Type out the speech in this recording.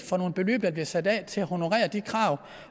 for nogle beløb der bliver sat af til at honorere de krav